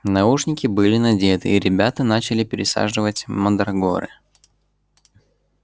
наушники были надеты и ребята начали пересаживать мандрагоры